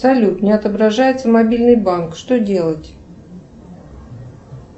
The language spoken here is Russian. салют не отображается мобильный банк что делать